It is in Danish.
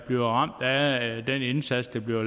bliver ramt af den indsats der bliver